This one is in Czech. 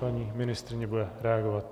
Paní ministryně bude reagovat.